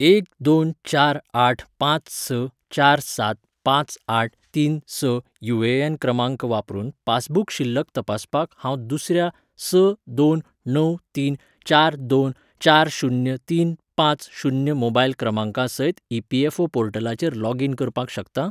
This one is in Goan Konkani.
एक दोन चार आठ पांच स चार सात पांच आठ तीन स यु ए एन क्रमांक वापरून पासबुक शिल्लक तपासपाक हांव दुसऱ्या स दोन णव तीन चार दोन चार शून्य तीन पांच शून्य मोबायल क्रमांका सयत ईपीएफओ पोर्टलाचेर लोग इन करपाक शकता ?